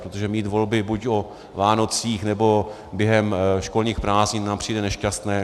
Protože mít volby buď o Vánocích, nebo během školních prázdnin nám přijde nešťastné.